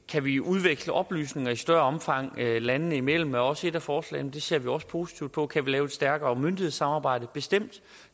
kan vi udveksle oplysninger i større omfang landene imellem det er også et af forslagene og det ser vi også positivt på kan vi lave et stærkere myndighedssamarbejde bestemt